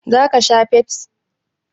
Za ka sha Pepsi?